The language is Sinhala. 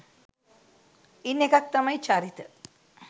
ඉන් එකක් තමයි චරිත